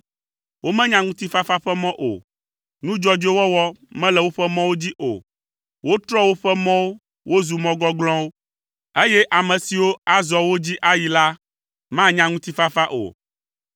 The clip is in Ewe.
Womenya ŋutifafa ƒe mɔ o. Nu dzɔdzɔe wɔwɔ mele woƒe mɔwo dzi o. Wotrɔ woƒe mɔwo wozu mɔ gɔglɔ̃wo, eye ame siwo azɔ wo dzi ayi la, manya ŋutifafa o,